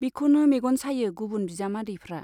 बिखौनो मेग'न सायो गुबुन बिजामादैफ्रा।